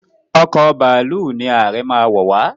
Ọkọ̀ bàálù ní Aree má wọ wá.